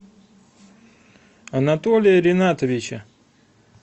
анатолия ринатовича